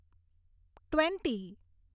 twenty